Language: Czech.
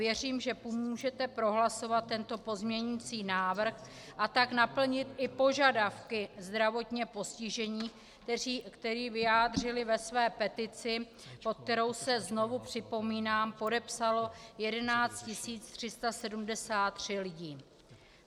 Věřím, že pomůžete prohlasovat tento pozměňující návrh, a tak naplnit i požadavky zdravotně postižených, které vyjádřili ve své petici, pod kterou se, znovu připomínám, podepsalo 11 373 lidí.